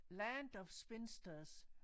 Land of spinsters